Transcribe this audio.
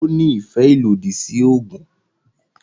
Ó ní ìfẹ́ ìlòdì sí oògùn